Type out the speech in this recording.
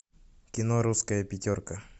кино русская пятерка